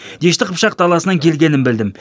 дешті қыпшақ даласынан келгенін білдім